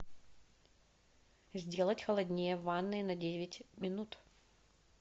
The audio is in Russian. сделать холоднее в ванной на девять минут